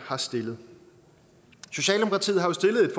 har stillet socialdemokratiet har jo stillet et